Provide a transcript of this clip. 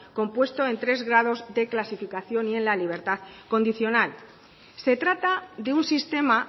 compuesto en tres grados de clasificación y en la libertad condicional se trata de un sistema